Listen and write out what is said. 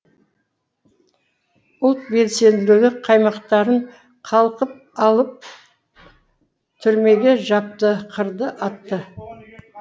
ұлт белсенді қаймақтарын қалқып алып түрмеге жапты қырды атты